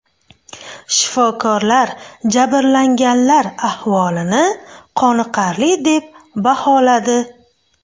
Shifokorlar jabrlanganlar ahvolini qoniqarli deb baholadi.